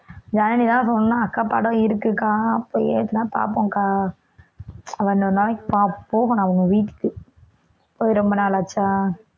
ஜனனி தான் சொன்னா அக்கா படம் இருக்குக்கா பார்ப்போம்க்கா அவ இன்னொரு நாளைக்கு பாப்~ போகணும் அவங்க வீட்டுக்கு போய் ரொம்ப நாள் ஆச்சா